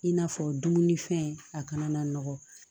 I n'a fɔ dumunifɛn a kana na nɔgɔ